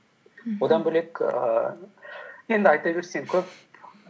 мхм одан бөлек ііі енді айта берсең көп